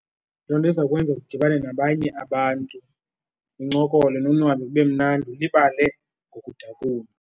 Loo nto izawukwenza udibane nabanye abantu nincokole nonwabe kube mnandi ulibale ngokudakumba.